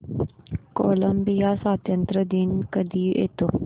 Colombia स्वातंत्र्य दिवस कधी येतो